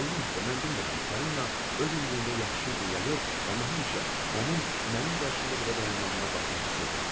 Allah haqqı, mən bilmirəm Polina öz üzlülüyündə yaxşı idi ya yox, amma həmişə onun mənim qarşımda belə dayanmağına baxmağı sevirdim.